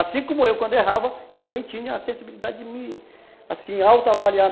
Assim como eu, quando errava, eu também tinha a sensibilidade de me, assim, auto-avaliar.